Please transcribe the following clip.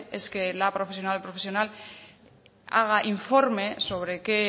es que la profesional o profesional haga informe sobre qué